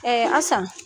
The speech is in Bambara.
asan